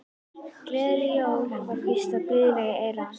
Gleðileg jól var hvíslað blíðlega í eyra hans.